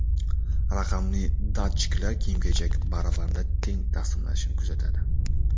Raqamli datchiklar kiyim-kechak barabanda teng taqsimlanishini kuzatadi.